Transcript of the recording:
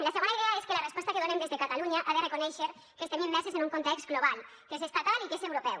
la segona idea és que la resposta que donem des de catalunya ha de reconèixer que estem immerses en un context global que és estatal i que és europeu